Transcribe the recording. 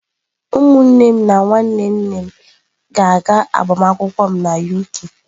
Ụmụnne m na nwanne nne m ga-aga agbamakwụkwọ m na UK.